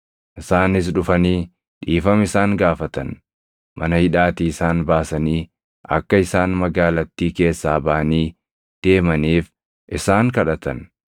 Isaanis dhufanii dhiifama isaan gaafatan; mana hidhaatii isaan baasanii akka isaan magaalattii keessaa baʼanii deemaniif isaan kadhatan.